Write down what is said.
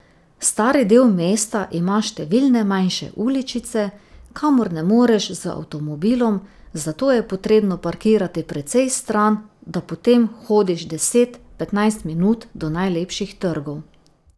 Stari del mesta ima številne manjše uličice, kamor ne moreš z avtomobilom, zato je potrebno parkirati precej stran, da potem hodiš deset, petnajst minut do najlepših trgov.